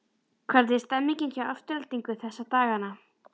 Hvernig er stemmningin hjá Aftureldingu þessa dagana?